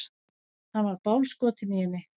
Hann var bálskotinn í henni.